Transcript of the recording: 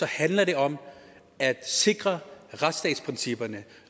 handler det om at sikre retsstatsprincipperne